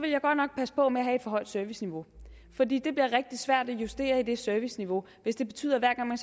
jeg godt nok passe på med at have et for højt serviceniveau fordi det bliver rigtig svært at justere i det serviceniveau hvis det betyder at hver gang